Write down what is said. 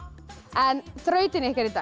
en þrautin ykkar í dag